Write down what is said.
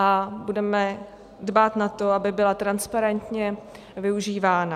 A budeme dbát na to, aby byla transparentně využívána.